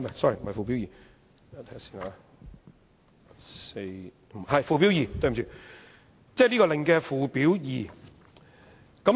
是附表 2， 對不起，即這個命令的附表2。